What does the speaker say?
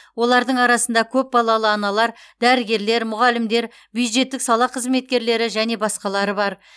олардың арасында көпбалалы аналар дәрігерлер мұғалімдер бюджеттік сала қызметкерлері және басқалары бар